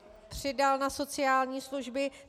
Přidal na sociální služby.